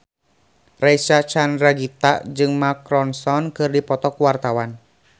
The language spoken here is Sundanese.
Reysa Chandragitta jeung Mark Ronson keur dipoto ku wartawan